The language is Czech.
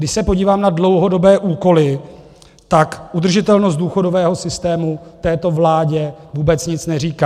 Když se podívám na dlouhodobé úkoly, tak udržitelnost důchodového systému této vládě vůbec nic neříká.